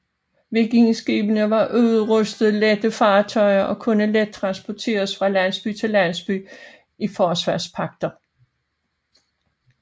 Vikingeskibene var uudrustede lette fartøjer og kunne let transporteres fra landsby til landsby i forsvarspagter